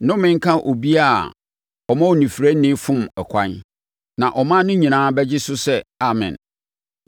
“Nnome nka obiara a ɔma onifirani fom ɛkwan.” Na ɔman no nyinaa bɛgye so sɛ, “Amen!”